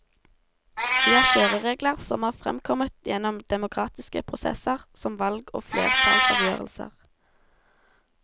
Vi har kjøreregler som er fremkommet gjennom demokratiske prosesser som valg og flertallsavgjørelser.